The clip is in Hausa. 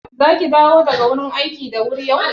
Zaki dawo daga wurin aiki da wuri yau?